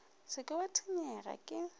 se ke wa tshwenyega ke